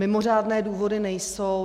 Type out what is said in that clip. Mimořádné důvody nejsou.